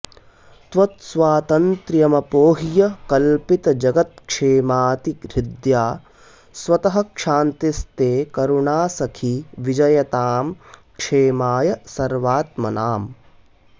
त्वत्स्वातन्त्र्यमपोह्य कल्पितजगत्क्षेमाऽतिहृद्या स्वतः क्षान्तिस्ते करुणासखी विजयतां क्षेमाय सर्वात्मनाम्